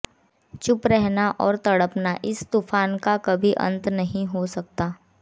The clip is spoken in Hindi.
चुप रहना और तड़पना इस तूफान का कभी अंत नहीं हो सकता